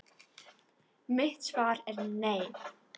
Mitt svar er nei!